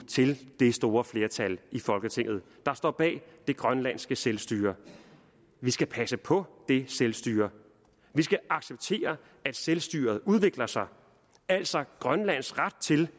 til det store flertal i folketinget der står bag det grønlandske selvstyre vi skal passe på det selvstyre vi skal acceptere at selvstyret udvikler sig altså grønlands ret til